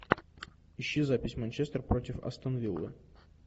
ищи запись манчестер против астон виллы